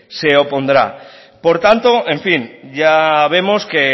se opondrá por tanto en fin ya vemos que